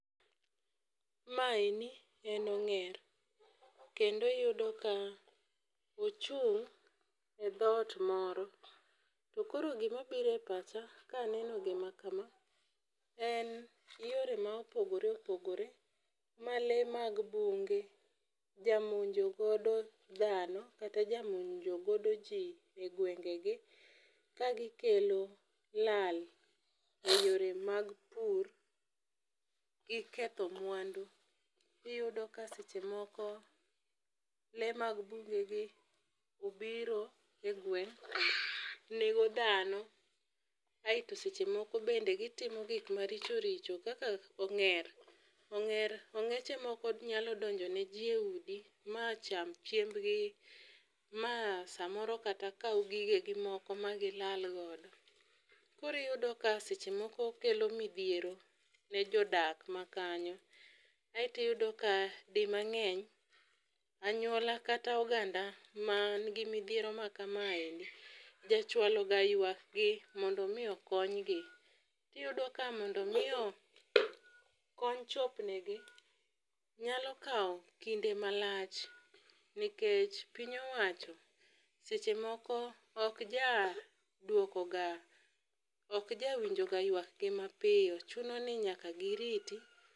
Maeni en ong'er kendo iyudo ka ochung' e dhot moro. To koro gima biro e pacha kaneno gima kama en yore ma opogore opogore ma lee mag bunge jamonjo godo dhano kata jamonjo godo jii e gwenge gi kagi kelo lal e yore mag pur gi ketho mwandu. Iyudo ka seche moko lee mag bungu gi obiro e gweng' nego dhano aeto seche moko bende gitimo gik maricho richo kaka ong'er ong'er ong'eche nyalo donjo e jii eudi macham chiembgi ma samoro kata kaw gigegi moko ma gilal godo. Kori yudo ka samoro kelo midhiero ne jodak makanyo Aeto iyudo ka di mang'eny anyuola kata oganda man gi midhiero ma kama endi ja chwalo ga ywak gi mondo mi okonygi. Tiyudo ka mondo mi kony chopnegi nyalo kawo kinde malach nikech piny owacho seche moko ok ja duoko ga ok ja winjo ga ywak gi mapiyo chuno ni nyaka giriti